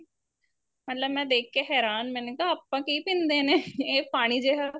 ਮਤਲਬ ਮੈਂ ਦੇਖ ਕੇ ਹੇਰਾਨ ਮੈਨੇ ਕਿਹਾ ਆਪਾਂ ਕੀ ਪੀਂਦੇ ਨੇ ਇਹ ਪਾਣੀ ਜਿਹਾ